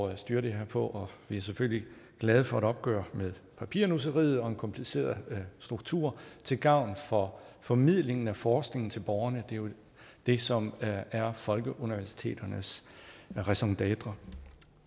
at styre det her på og vi er selvfølgelig glade for et opgør med papirnusseriet og en kompliceret struktur til gavn for formidlingen af forskningen til borgerne det er jo det som er folkeuniversiteternes raison dêtre